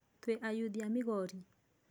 Twĩ ayuthi a migori.